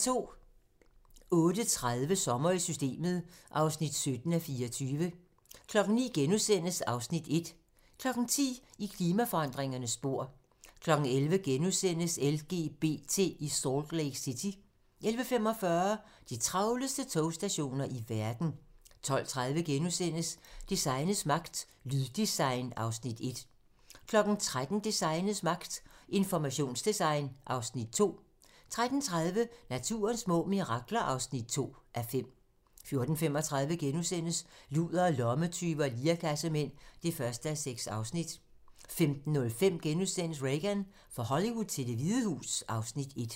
08:30: Sommer i Systemet (17:24) 09:00: (Afs. 1)* 10:00: I klimaforandringernes spor 11:00: LGBT i Salt Lake City * 11:45: De travleste togstationer i verden 12:30: Designets magt - Lyddesign (Afs. 1)* 13:00: Designets magt - Informationsdesign (Afs. 2) 13:30: Naturens små mirakler (2:5) 14:35: Ludere, lommetyve og lirekassemænd (1:6)* 15:05: Reagan - fra Hollywood til Det Hvide Hus (Afs. 1)*